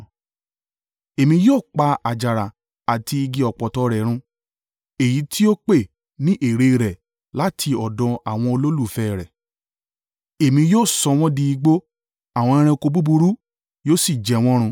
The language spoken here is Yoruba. Èmi yóò pa àjàrà àti igi ọ̀pọ̀tọ́ rẹ̀ run, èyí tí ó pè ní èrè rẹ̀ láti ọ̀dọ̀ àwọn olólùfẹ́ rẹ̀, Èmi yóò sọ wọ́n di igbó, àwọn ẹranko búburú yóò sì jẹ́ wọn run.